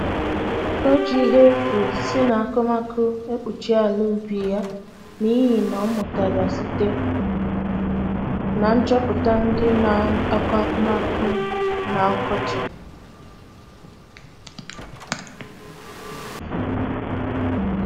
O ji ihe efu si na akụmakụ ekpuchi ala ubi ya n'ịhị ihe ọmụtara site na nchọpụta ndị na akọ akụmakụ na ọkọchị